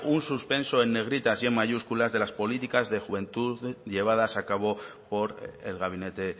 un suspenso en negritas y en mayúsculas de las políticas de juventud llevadas a cabo por el gabinete